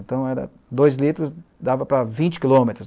Então era dois litros, dava para vinte quilômetros.